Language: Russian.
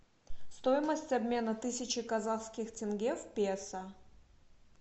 стоимость обмена тысячи казахских тенге в песо